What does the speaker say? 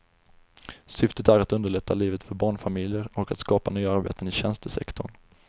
Syftet är att underlätta livet för barnfamiljer och att skapa nya arbeten i tjänstesektorn.